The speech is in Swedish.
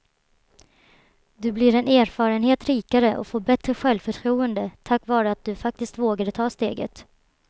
Du blir en erfarenhet rikare och får bättre självförtroende tack vare att du faktiskt vågade ta steget.